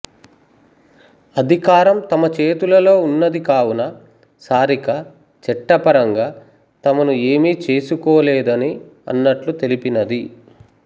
అధికారం తమ చేతులలో ఉన్నది కావున సారిక చట్టపరంగా తమను ఏమీ చేసుకోలేదని అన్నట్లు తెలిపినది